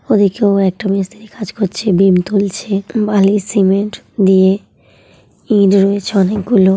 ওদিকেও একটা মিস্ত্রি কাজ করছে। বিম তুলছে বালি সিমেন্ট দিয়ে ইট রয়েছে অনেকগুলো ।